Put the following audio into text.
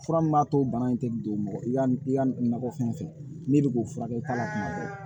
Fura min b'a to bana in tɛ don mɔgɔ i ka i ka nakɔ fɛn fɛ ne bɛ k'o furakɛ ka na kuma bɛɛ